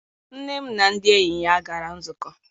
Nne m na ndị enyi ya gara nzukọ.